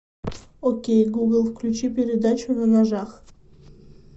окей гугл включи передачу на ножах